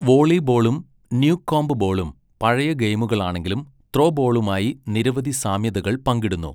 വോളിബോളും Newcomb ബോളും പഴയ ഗെയിമുകളാണെങ്കിലും ത്രോബോളുമായി നിരവധി സാമ്യതകൾ പങ്കിടുന്നു.